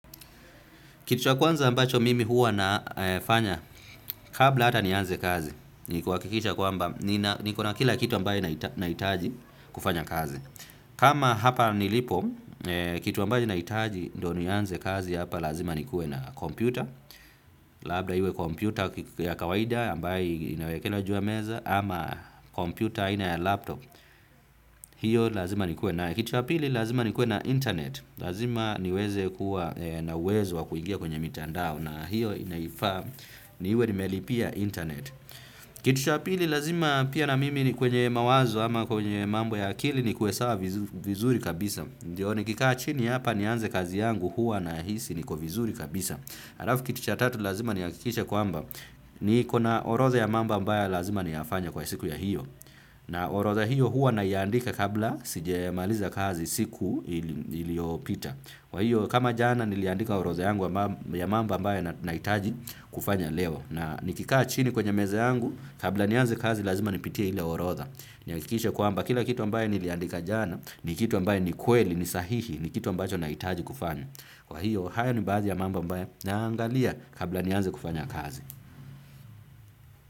Kitu cha kwanza ambacho mimi huwa nafanya, kabla hata nianze kazi, ni kuhakikisha kwamba nikona kila kitu ambacho nahitaji kufanya kazi. Kama hapa nilipo, kitu ambacho nahitaji ndio nianze kazi hapa, lazima nikuwe na kompyuta. Labda iwe kompyuta ya kawaida, ambayo inawekelewa juu ya meza, ama kompyuta aina ya laptop, hiyo lazima nikuwe nayo. Na kitu cha pili, lazima nikuwe na intaneti, lazima niweze kuwa na uwezo wa kuingia kwenye mitandao, na hiyo inanifaa niwe nimelipia intaneti. Kitu cha pili, lazima pia mimi niwe kwenye mawazo ama kwenye mambo ya akili, nikuwe sawa vizuri kabisa. Ndiyo nikikaa chini hapa nianze kazi yangu hua nahisi niko vizuri kabisa. Halafu kitu cha tatu, lazima nihakikishe kwamba nikona orodha ya mambo ambayo lazima niyafanye kwa siku hiyo. Na orodha hiyo huwa naiandika kabla sijamaliza kazi siku iliyopita. Kwa hiyo kama jana niliandika orodha yangu ya mambo ambayo nahitaji kufanya leo. Na nikikaa chini kwenye meza yangu, kabla nianze kazi, lazima nipitie ile orodha. Nihakikishe kwamba kila kitu ambacho niliandika jana ni kitu ambacho ni kweli, ni sahihi, ni kitu ambacho nahitaji kufanya. Kwa hiyo hayo ni baadhi ya mambo ambayo naangalia kabla nianze kufanya kazi.